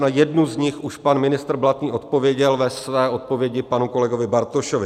Na jednu z nich už pan ministr Blatný odpověděl ve své odpovědi panu kolegovi Bartošovi.